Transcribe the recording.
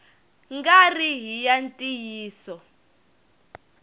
nga ri hi ya ntiyiso